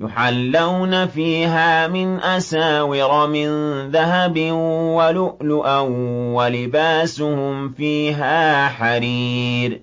يُحَلَّوْنَ فِيهَا مِنْ أَسَاوِرَ مِن ذَهَبٍ وَلُؤْلُؤًا ۖ وَلِبَاسُهُمْ فِيهَا حَرِيرٌ